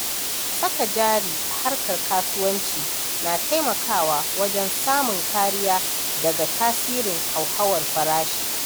Saka jari a harkar kasuwanci na taimakawa wajen samun kariya daga tasirin hauhawar farashi.